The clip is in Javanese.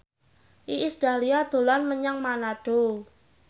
Iis Dahlia dolan menyang Manado